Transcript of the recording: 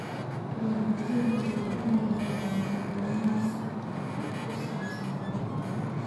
Waalidiintu waa inay helaan macluumaad sax ah oo ku saabsan carruurta.